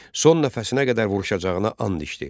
Son nəfəsinə qədər vuruşacağına and içdi.